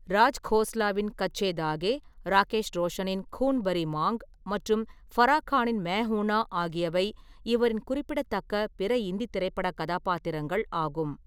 ராஜ்கோஸ்லாவின் கச்சே தாகே, ராகேஷ் ரோஷனின் கூன் பாரி மாங் மற்றும் ஃபரா கானின் மெயின் ஹூன் நா ஆகியவை இவரின் குறிப்பிடத்தக்க பிற இந்தித் திரைப்ப்படக் கதாபாத்திரங்கள் ஆகும்.